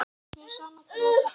Mér er sama hvað þú kallar það.